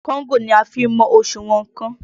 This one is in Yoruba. Kóńgò ni a fi ń mọ òṣùwọ̀n nnkan.